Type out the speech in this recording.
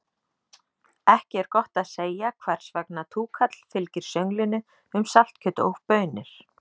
Ekki er gott að segja hvers vegna túkall fylgir sönglinu um saltkjöt og baunir.